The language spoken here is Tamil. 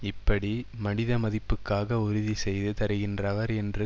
இப்படி மனித மதிப்புகளுக்காக உறுதிசெய்து தருகின்றவர் என்று